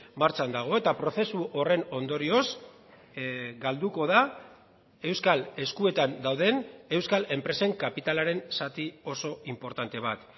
martxan dago eta prozesu horren ondorioz galduko da euskal eskuetan dauden euskal enpresen kapitalaren zati oso inportante bat